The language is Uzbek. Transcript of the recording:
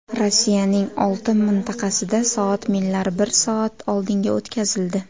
Rossiyaning olti mintaqasida soat millari bir soat oldinga o‘tkazildi.